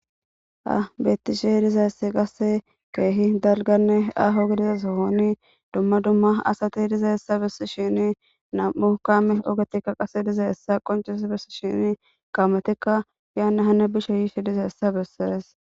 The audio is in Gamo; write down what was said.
Ha betishe dizaysi qase kehi dalgane aho gididi sohoni duma duma asati dezaysa besishin nam'u kame ogeti qaseka dizaysa qoncisis besishin kametika hene hane bishe yishe dizaysa beses